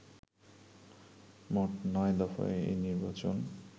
মোট নয় দফায় এই নির্বাচন